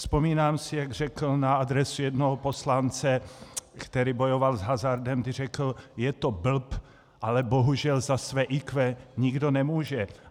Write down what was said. Vzpomínám si, jak řekl na adresu jednoho poslance, který bojoval s hazardem, kdy řekl, je to blb, ale bohužel za své IQ nikdo nemůže.